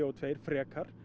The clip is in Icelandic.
tvö frekar